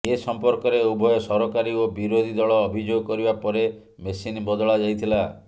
ଏସଂପର୍କରେ ଉଭୟ ସରକାରୀ ଓ ବିରୋଧୀ ଦଳ ଅଭିଯୋଗ କରିବା ପରେ ମେସିନ ବଦଳାଯାଇଥିଲା